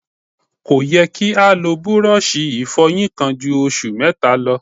Kò yẹ kí́ o lò búrọ́ọlṣì ìfọyín kan ju oṣù mẹ́ta lọ.